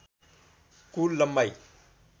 कुल लम्बाइ